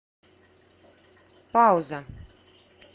пауза